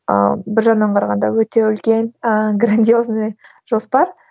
ыыы бір жағынан қарағанда өте үлкен ыыы грандиозный жоспар